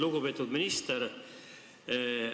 Lugupeetud minister!